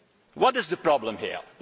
What is the problem here?